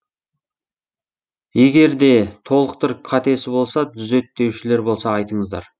егерде толықтыр қатесі болса түзет деушілер болса айтыңыздар